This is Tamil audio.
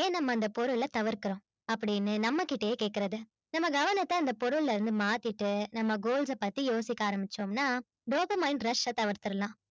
ஏன் நம்ம அந்த பொருளை தவிர்க்கிறோம் அப்படீன்னு நம்மகிட்டயே கேக்குறது நம்ம கவனத்தை அந்த பொருள்ல இருந்து மாத்திட்டு நம்ம goals அ பத்தி யோசிக்க ஆரம்பிச்சோம்னா dopamine rush அ தவிர்த்திரலாம்